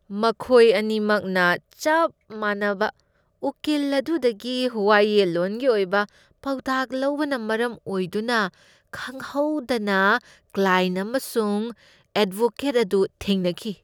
ꯃꯈꯣꯏ ꯑꯅꯤꯃꯛꯅ ꯆꯞ ꯃꯥꯟꯅꯕ ꯎꯀꯤꯜ ꯑꯗꯨꯗꯒꯤ ꯋꯥꯌꯦꯜꯂꯣꯟꯒꯤ ꯑꯣꯏꯕ ꯄꯥꯎꯇꯥꯛ ꯂꯧꯕꯅ ꯃꯔꯝ ꯑꯣꯏꯗꯨꯅ ꯈꯪꯍꯧꯗꯅ ꯀ꯭ꯂꯥꯏꯌꯦꯟꯠ ꯑꯃꯁꯨꯡ ꯑꯦꯗꯚꯣꯀꯦꯠ ꯑꯗꯨ ꯊꯦꯡꯅꯈꯤ꯫